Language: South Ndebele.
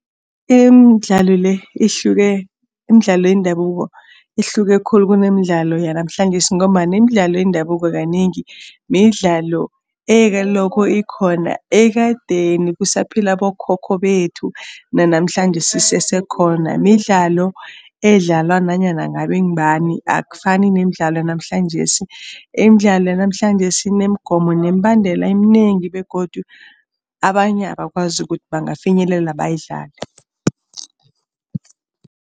Imidlalo le ihluke, imidlalo yendabuko ihluke khulu kunemidlalo yanamhlanjesi ngombana imidlalo yendabuko kanengi midlalo ebelokho ikhona ekadeni kusaphila abokhokho bethu nanamhlanjesi isese khona. Midlalo edlalwa nanyana ngabe ngubani akufani nemidlalo yanamhlanjesi, imidlalo yanamhlanjesi inemigomo nemibandela eminengi begodu abanye abakwazi ukuthi bangafinyelela bayidlale.